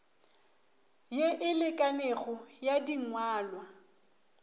ye e lekanego ya dingwalwa